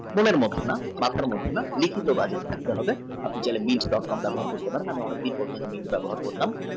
coupon এর link টা app এর link টা আপনি নিচের link টা ব্যবহার করতে পারেন।